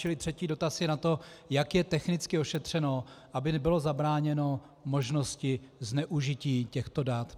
Čili třetí dotaz je na to, jak je technicky ošetřeno, aby bylo zabráněno možnosti zneužití těchto dat.